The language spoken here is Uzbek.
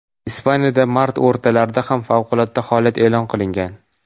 Ispaniyada mart o‘rtalarida ham favqulodda holat e’lon qilingan .